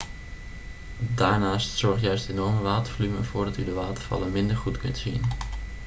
daarnaast zorgt juist het enorme watervolume ervoor dat u de watervallen minder goed kunt zien